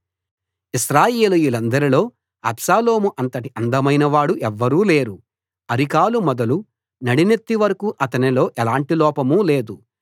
ఇశ్రాయేలీయులందరిలో అబ్షాలోము అంతటి అందమైనవాడు ఎవ్వరూ లేరు అరికాలు మొదలు నడినెత్తి వరకూ అతనిలో ఎలాంటి లోపమూ లేదు